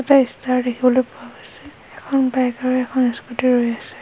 এটা ষ্টাৰ দেখিবলৈ পোৱা গৈছে এখন বাইক আৰু এখন স্কুটী ৰৈ আছে।